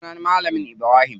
Sunan malamin mu Ibrahim.